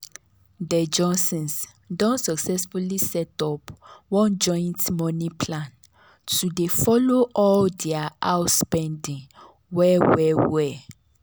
de johnsons don successfully set up one joint money plan to dey follow all dia house spending well well. well.